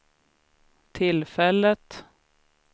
tillfället